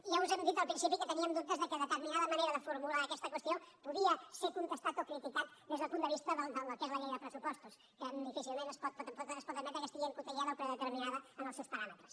ja us hem dit al principi que teníem dubtes perquè determinada manera de formular aquesta qüestió podia ser contestada o criticada des del punt de vista del que és la llei de pressupostos que difícilment es pot admetre que estigui encotillada o predeterminada en els seus paràmetres